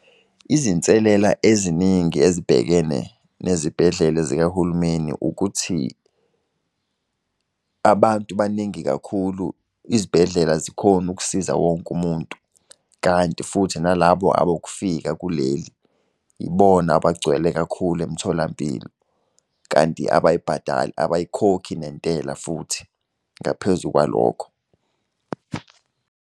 Izinselela eziningi ezibhekene nezibhedlela zikahulumeni ukuthi. Abantu baningi kakhulu, izibhedlela azikhoni ukusiza wonke umuntu, kanti futhi nalabo abokufika kuleli, ibona abagcwele kakhulu emtholampilo, kanti abayibhadali, abayikhokhi nentela futhi ngaphezu kwalokho.